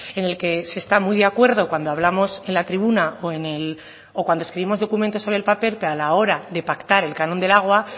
en el que se está muy de acuerdo cuando hablamos en la tribuna o en cuando escribimos documentos sobre el papel pero a la hora de pactar el canon del agua